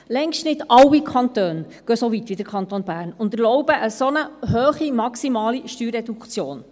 Längst nicht alle Kantone gehen so weit wie der Kanton Bern und erlauben eine solch hohe maximale Steuerreduktion.